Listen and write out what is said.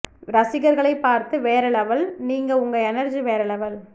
ரசிகர்களை பார்த்து வேற லெவல் நீங்க உங்க எனர்ஜி வேற லெவல்